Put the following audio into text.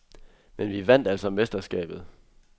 Men vi vandt altså mesterskabet.